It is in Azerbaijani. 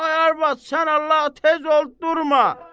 Ay arvad, sən Allah, tez ol, durma.